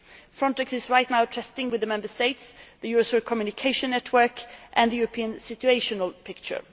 Frontex is currently testing with the Member States the Eurosur communication network and the European Situational Picture.